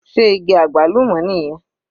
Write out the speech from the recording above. Sé igi àgbálùmọ́ nìyẹn?